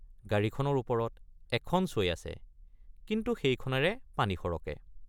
গাড়ীখনৰ ওপৰত এখন ছৈ আছে কিন্তু সেইখনেৰে পানী সৰকে।